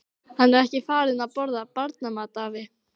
Hann er ekki farinn að borða barnamat, afi.